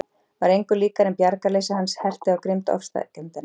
Var engu líkara en bjargarleysi hans herti á grimmd ofsækjendanna.